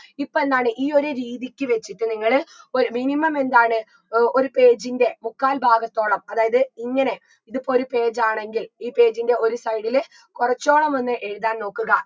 ഇപ്പൊ എന്താണ് ഈ ഒരു രീതിക്ക് വെച്ചിട്ട് നിങ്ങള് ഒരു minimum എന്താണ് ഏർ ഒരു page ൻറെ മുക്കാൽ ഭാഗത്തോളം അതായത് ഇങ്ങനെ ഇതിപ്പൊരു page ആണെങ്കിൽ ഈ page ൻറെ ഒരു side ല് കൊറച്ചോളം ഒന്ന് എഴുതാൻ നോക്കുക